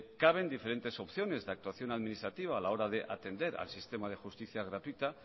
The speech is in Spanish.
caben diferentes opciones de actuación administrativa a la hora de atender al sistema de justicia gratuita